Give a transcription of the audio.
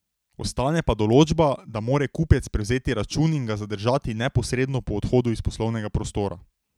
Ostane pa določba, da mora kupec prevzeti račun in ga zadržati neposredno po odhodu iz poslovnega prostora.